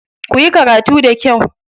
Kuyi karatu da kyau.